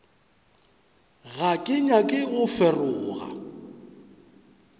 ga ke nyake go feroga